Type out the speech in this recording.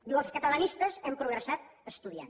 diu els catalanistes hem progressat estudiant